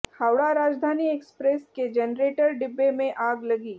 Howrah Rajdhani express के generator डिब्बे में आग लगी